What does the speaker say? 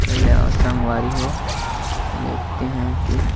चल आ संगवारी हो देखते है कि--